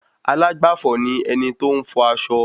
Alágbàfò ni ẹni tí óún fọ aṣọ